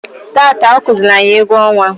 Taata ọkụzịịlị anyị egwu ọnwa.